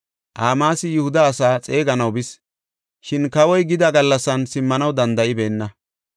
Amaasi Yihuda asaa xeeganaw bis; shin kawoy gida gallasan simmanaw danda7ibeenna.